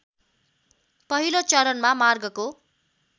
पहिलो चरणमा मार्गको